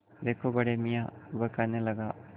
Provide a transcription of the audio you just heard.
देखो बड़े मियाँ वह कहने लगा